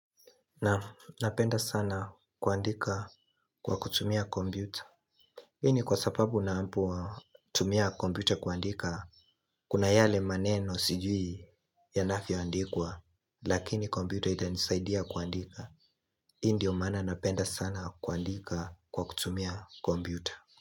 Naam napenda sana kuandika kwa kutumia kompyuta hii ni kwa sapabu napotumia kompyuta kuandika Kuna yale maneno sijui yanafyoandikwa Lakini kombyuta itanisaidia kuandika hii ndio maana napenda sana kuandika kwa kutumia kombiuta.